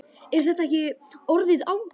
Er þetta ekki orðið ágætt?